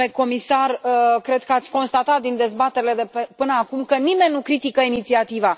Domnule comisar, cred că ați constatat din dezbaterile de până acum că nimeni nu critică inițiativa.